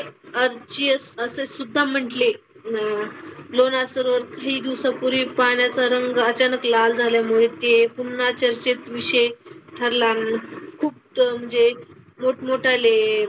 आश्चर्य असेसुद्धा म्हंटले. न लोणार सरोवर काही दिवसापूर्वी पाण्याचा रंग अचानक लाल झाल्यामुळे ते पुन्हा चर्चेत विषय ठरला. खूप तो म्हणजे मोठमोठाले,